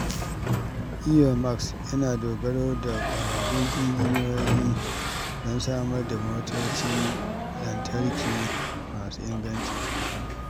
Elon Musk yana dogara da ƙwararrun injiniyoyi don samar da motocin lantarki masu inganci.